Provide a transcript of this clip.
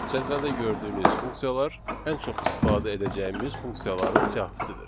Cədvəldə gördüyünüz funksiyalar ən çox istifadə edəcəyimiz funksiyaların siyahısıdır.